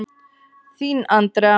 Þín Andrea.